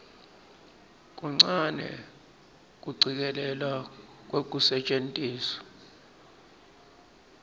kuncane kucikelelwa kwekusetjentiswa